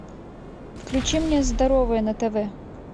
включи мне здоровое на тв